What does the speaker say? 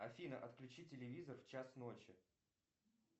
афина отключи телевизор в час ночи